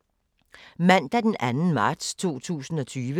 Mandag d. 2. marts 2020